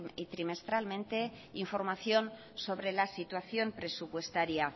y trimestralmente información sobre la situación presupuestaria